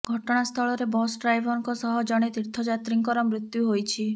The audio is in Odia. ଘଟଣା ସ୍ଥଳରେ ବସ ଡ଼୍ରାଇଭରଙ୍କ ସହ ଜଣେ ତୀର୍ଥଯାତ୍ରୀଙ୍କର ମୃତ୍ୟୁ ହୋଇଛି